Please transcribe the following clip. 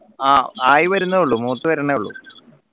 ആഹ് ആയി വരുന്നേയുള്ളൂ മൂത് വരുന്നേയുള്ളൂ